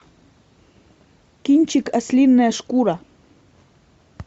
кинчик ослиная шкура